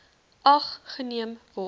ag geneem word